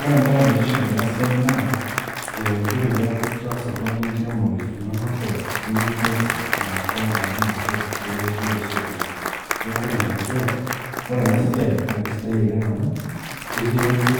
Ore embaye naitiship tena siai naa ee ore piaku itaasa oltung'ani enkiremore ino makeon nimintoki aata gharama sapuk elotie osokoni. Neeku ore ene dukuya, ore ena siai naake sidai oleng' amu ekiretu